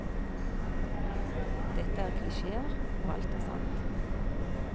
Dette er klisjeer, og alt er sant.